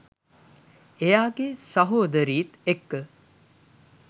එයාගේ සහොදරිත් එක්ක